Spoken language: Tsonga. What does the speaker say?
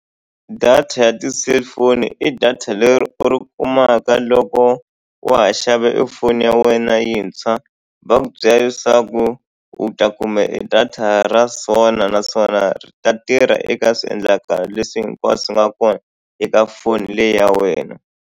Data ya ti-cellphone i data leri u ri kumaka loko wa ha xava e foni ya wena yintshwa. Va ku byela leswaku u ta kuma e data ra so na naswona ta tirha eka swiendlakalo leswi hinkwaswo u nga kona eka foni leyi ya wena.